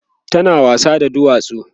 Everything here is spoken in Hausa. tana wasa da duwatsu